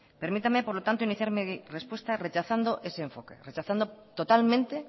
permítame por lo tanto iniciar mi respuesta rechazando ese enfoque rechazando totalmente